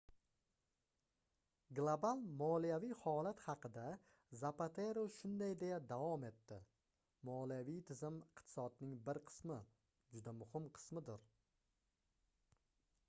global moliyaviy holat haqida zapatero shunday deya davom etdi moliyaviy tizim iqtisodning bir qismi juda muhim qismidir